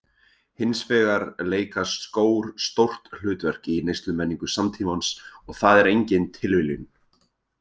Hins vegar leika skór stórt hlutverk í neyslumenningu samtímans og það er engin tilviljun.